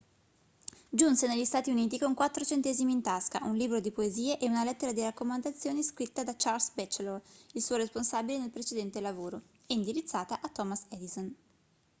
giunse negli stati uniti con 4 centesimi in tasca un libro di poesie e una lettera di raccomandazioni scritta da charles batchelor il suo responsabile nel precedente lavoro e indirizzata a thomas edison